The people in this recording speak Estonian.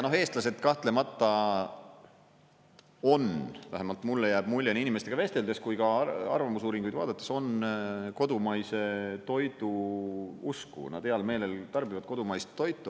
Ja eestlased kahtlemata on, vähemalt mulle jääb mulje nii inimestega vesteldes kui ka arvamusuuringuid vaadates, kodumaise toidu usku, nad heal meelel tarbivad kodumaist toitu.